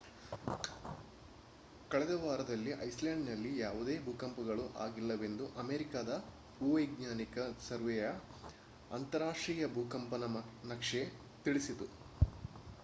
ಕಳೆದ ವಾರದಲ್ಲಿ ಐಸ್‍‌ಲ್ಯಾಂಡ್‌ನಲ್ಲಿ ಯಾವುದೇ ಭೂಕಂಪಗಳು ಆಗಿಲ್ಲವೆಂದು ಅಮೇರಿಕಾದ ಭೂವೈಜ್ಞಾನಿಕ ಸರ್ವೆಯ ಅಂತಾರಾಷ್ಟ್ರೀಯ ಭೂಕಂಪನ ನಕ್ಷೆ ತಿಳಿಸಿತು